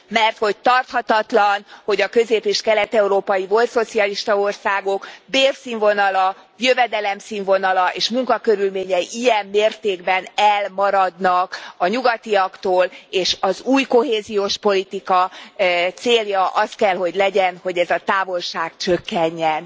mert hogy tarthatatlan, hogy a közép és kelet európai volt szocialista országok bérszínvonala, jövedelem színvonala és munkakörülményei ilyen mértékben elmaradnak a nyugatiaktól, és az új kohéziós politika célja az kell, hogy legyen, hogy ez a távolság csökkenjen.